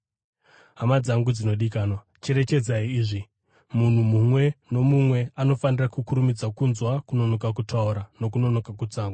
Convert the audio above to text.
Hama dzangu dzinodikanwa, cherechedzai izvi: Munhu mumwe nomumwe anofanira kukurumidza kunzwa, kunonoka kutaura nokunonoka kutsamwa,